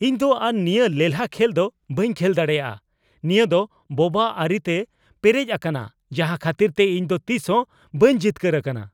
ᱤᱧ ᱫᱚ ᱟᱨ ᱱᱤᱭᱟᱹ ᱞᱮᱞᱦᱟ ᱠᱷᱮᱞ ᱫᱚ ᱵᱟᱹᱧ ᱠᱷᱮᱞ ᱫᱟᱲᱮᱭᱟᱜᱼᱟ ᱾ ᱱᱤᱭᱟᱹ ᱫᱚ ᱵᱳᱵᱟ ᱟᱹᱨᱤᱛᱮ ᱯᱮᱨᱮᱡ ᱟᱠᱟᱱᱟ ᱡᱟᱦᱟ ᱠᱷᱟᱹᱛᱤᱨᱛᱮ ᱤᱧ ᱫᱚ ᱛᱤᱥ ᱦᱚᱸ ᱵᱟᱹᱧ ᱡᱤᱛᱠᱟᱹᱨ ᱟᱠᱟᱱᱟ ᱾